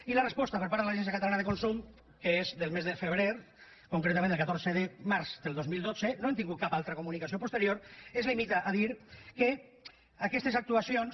i la resposta per part de l’agència catalana de consum que és concretament del catorze de març del dos mil dotze no hem tingut cap altra comunicació posterior es limita a dir que aquestes actuacions